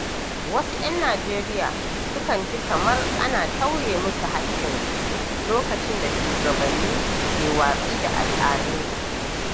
Wasu ‘yan Najeriya sukan ji kamar ana tauye musu haƙƙinsu lokacin da shugabanni ke watsi da al’adunsu.